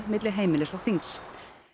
milli heimilis og þings